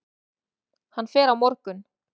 Hann fer á morgun.